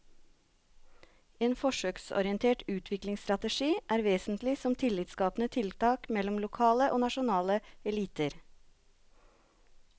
En forsøksorientert utviklingsstrategi er vesentlig som tillitsskapende tiltak mellom lokale og nasjonale eliter.